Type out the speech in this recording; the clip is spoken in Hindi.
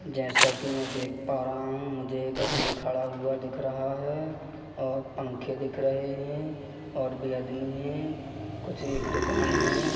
जैसा कि मैं देख पा रहा हूं मुझे एक आदमी खड़ा हुआ दिख रहा है और पंखे दिख रहे हैं और भी आदमी है कुछ एक दुकान है।